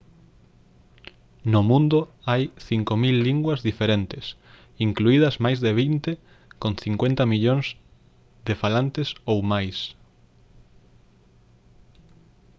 no mundo hai 5000 linguas diferentes incluídas máis de vinte con 50 millóns de falantes ou máis